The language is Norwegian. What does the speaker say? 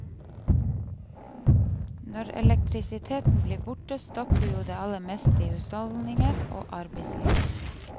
Når elektrisiteten blir borte, stopper jo det aller meste i husholdninger og arbeidsliv.